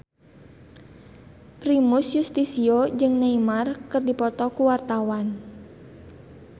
Primus Yustisio jeung Neymar keur dipoto ku wartawan